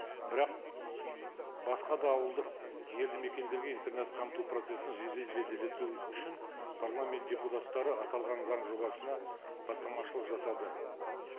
бірақ басқа да ауылдық елді мекендерге интернет қамту процессі үшін парламент депутаттары аталған заң жобасына бастамашылық жасады